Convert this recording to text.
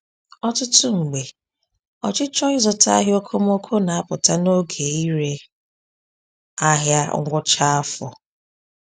Ọtụtụ mgbe, ọchịchọ ịzụta ihe okomoko na-apụta n’oge ire ahịa ngwụcha afọ.